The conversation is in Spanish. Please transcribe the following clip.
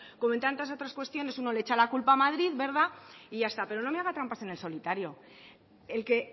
como en tantas otras cuestiones uno le echa la culpa a madrid verdad y ya está pero no me haga trampas en el solitario el que